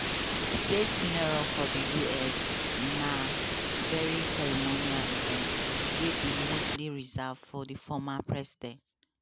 state funeral for di us na very ceremonial event wey dey mostly reserved for former president.